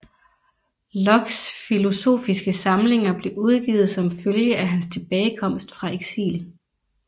Lockes filosofiske samlinger blev udgivet som følge af hans tilbagekomst fra eksil